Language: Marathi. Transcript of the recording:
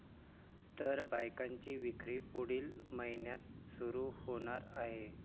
तर बाईकची विक्री पुढील महिन्यात सुरु होणार आहे.